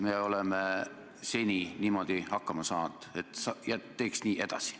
Me oleme seni niimoodi hakkama saanud ja teeks nii edasi.